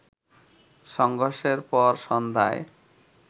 সংঘর্ষের পর সন্ধ্যায়